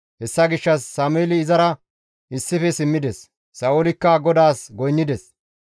Hessa gishshas Sameeli izara issife simmides; Sa7oolikka GODAAS goynnides.